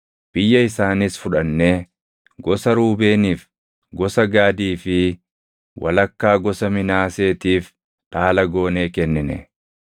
Biyya isaaniis fudhannee gosa Ruubeeniif, gosa Gaadii fi walakkaa gosa Minaaseetiif dhaala goonee kennine.